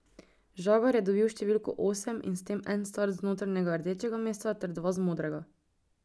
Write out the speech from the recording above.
Žagar je dobil številko osem in s tem en start z notranjega rdečega mesta ter dva z modrega.